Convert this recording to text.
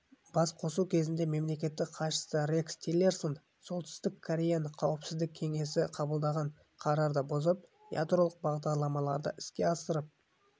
басқосу кезінде мемлекеттік хатшысы рекс тиллерсонсолтүстік кореяны қауіпсіздік кеңесі қабылдаған қарарды бұзып ядролық бағдарламаларды іске асырып